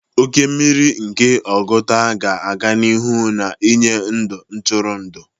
Oke mmiri nke Oguta ga-aga n'ihu na-enye ebe ntụrụndụ.